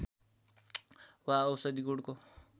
वा औषधि गुणको